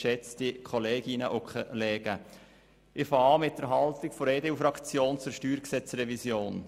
Ich beginne mit der Haltung der EDU-Fraktion zur StG-Revision.